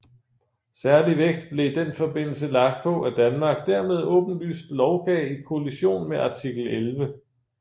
Særlig vægt blev i den forbindelse lagt på at Danmark dermed åbenlyst lovgav i kollision med artikel 11